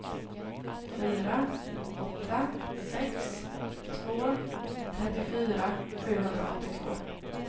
fyra åtta sex två trettiofyra sjuhundraåttiotvå